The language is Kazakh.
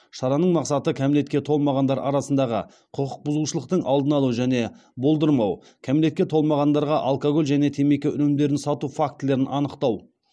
шараның мақсаты кәмелетке толмағандар арасындағы құқық бұзушылықтың алдын алу және болдырмау кәмелетке толмағандарға алкоголь және темекі өнімдерін сату фактілерін анықтау